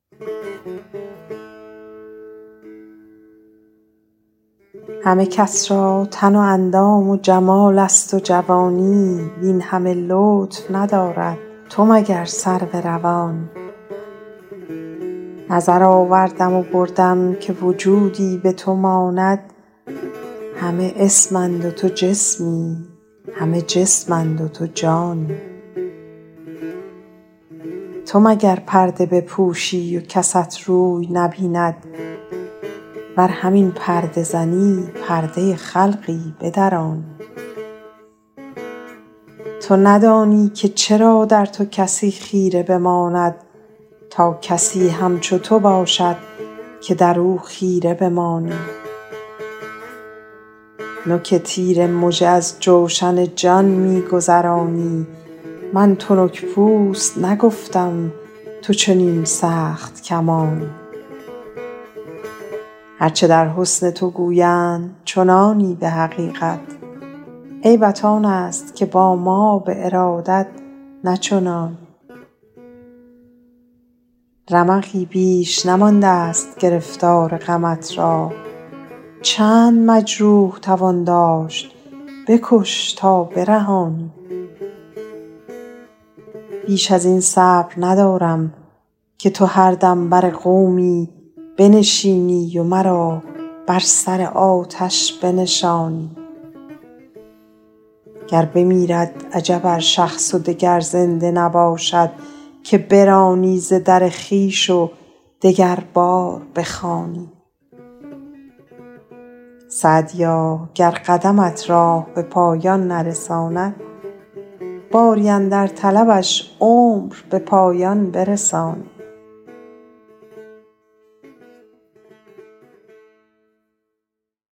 همه کس را تن و اندام و جمال است و جوانی وین همه لطف ندارد تو مگر سرو روانی نظر آوردم و بردم که وجودی به تو ماند همه اسم اند و تو جسمی همه جسم اند و تو جانی تو مگر پرده بپوشی و کست روی نبیند ور همین پرده زنی پرده خلقی بدرانی تو ندانی که چرا در تو کسی خیره بماند تا کسی همچو تو باشد که در او خیره بمانی نوک تیر مژه از جوشن جان می گذرانی من تنک پوست نگفتم تو چنین سخت کمانی هر چه در حسن تو گویند چنانی به حقیقت عیبت آن است که با ما به ارادت نه چنانی رمقی بیش نمانده ست گرفتار غمت را چند مجروح توان داشت بکش تا برهانی بیش از این صبر ندارم که تو هر دم بر قومی بنشینی و مرا بر سر آتش بنشانی گر بمیرد عجب ار شخص و دگر زنده نباشد که برانی ز در خویش و دگربار بخوانی سعدیا گر قدمت راه به پایان نرساند باری اندر طلبش عمر به پایان برسانی